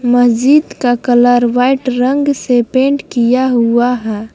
मस्जिद का colour white रंग से पेंट किया हुआ है।